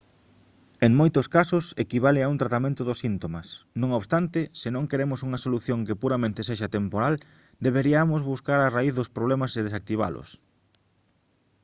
en moitos casos equivale a un tratamento dos síntomas non obstante se non queremos unha solución que puramente sexa temporal deberiamos buscar a raíz dos problemas e desactivalos